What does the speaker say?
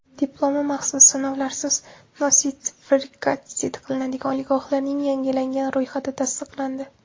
Diplomi maxsus sinovlarsiz nostrifikatsiya qilinadigan oliygohlarning yangilangan ro‘yxati tasdiqlandi.